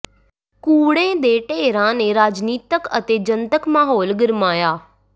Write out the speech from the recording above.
ਕੂੜੇ ਦੇ ਢੇਰਾਂ ਨੇ ਰਾਜਨੀਤਿਕ ਅਤੇ ਜਨਤਕ ਮਾਹੌਲ ਗਰਮਾਇਆ